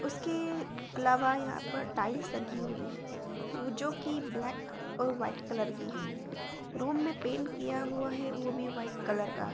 उसके अलावा यहाँ पर टाइल्स लगी हुई है वो जो की ब्लैक और व्हाइट कलर की है रूम मे पेंट किया हुआ है वो भी व्हाइट कलर का ।